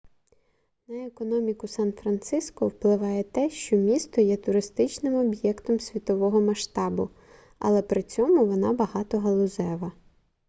на економіку сан-франциско впливає те що місто є туристичним об'єктом світового масштабу але при цьому вона багатогалузева